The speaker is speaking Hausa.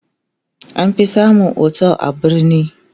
an fi samun otel a birni